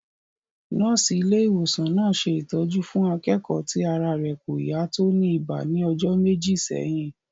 Nọ́ọ̀sì ilé ìwòsàn náà ṣe ìtọ́jú fún akẹ́kọ̀ọ́ ti ara rẹ̀ kò yá tó ní ibà ní ọjọ́ méjì sẹ́yìn